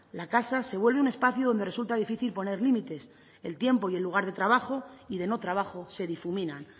la casa se vuelve un espacio donde resulta difícil poner límites el tiempo y el lugar de trabajo y de no trabajo se difuminan